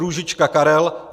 Růžička Karel